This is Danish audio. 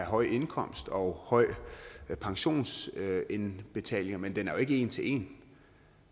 høj indkomst og høj pensionsindbetaling men den er jo ikke en til en